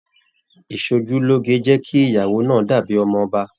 Ìsòjúloge jẹ kí ìyàwó náà dàbí ọmọ ọba.